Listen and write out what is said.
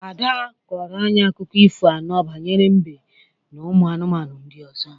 Ada kọrọ anyị akụkọ ifo anọ banyere mbe na ụmụ anụmanụ ndị ọzọ.